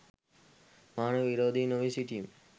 මානව විරෝධී නොවී සිටීම